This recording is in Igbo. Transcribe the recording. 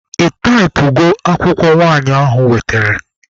Ị taịpụgo akwụkwọ nwanyị ahụ wetere?